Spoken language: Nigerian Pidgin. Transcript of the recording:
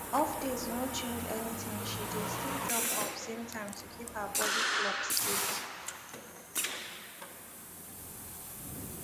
off days no change anythingshe dey still jump up same time to keep her body clock straight